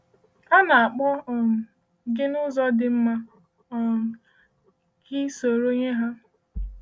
A na-akpọ um gị n’ụzọ dị mma um ka ị sonyere ha.